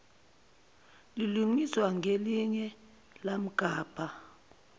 lilungiswa ngelinye yamgabha